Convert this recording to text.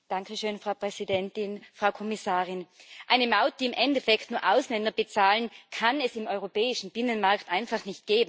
Frau Präsidentin, Frau Kommissarin! Eine Maut, die im Endeffekt nur Ausländer bezahlen, kann es im Europäischen Binnenmarkt einfach nicht geben.